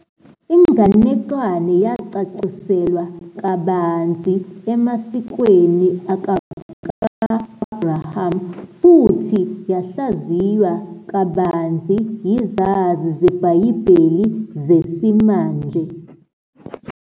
Inganekwane yacaciselwa kabanzi emasikweni akamuva ka-Abraham, futhi yahlaziywa kabanzi yizazi zebhayibheli zesimanje.